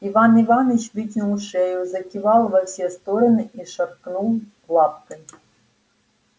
иван иваныч вытянул шею закивал во все стороны и шаркнул лапкой